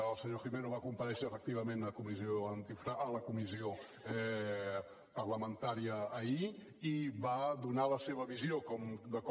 el senyor gimeno va comparèixer efectivament a la comissió parlamentària ahir i va donar la seva visió de com